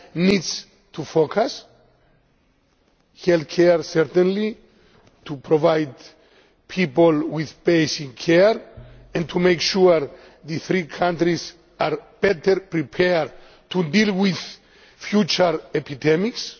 needs to focus healthcare, certainly, to provide people with basic care, and to make sure the three countries are better prepared to deal with future epidemics